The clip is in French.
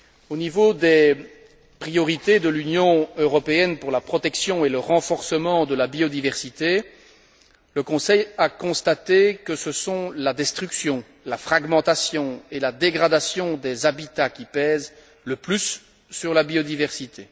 Au niveau des priorités de l'Union européenne pour la protection et le renforcement de la biodiversité, le Conseil a constaté que ce sont la destruction, la fragmentation et la dégradation des habitats qui pèsent le plus sur la biodiversité.